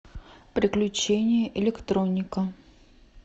приключения электроника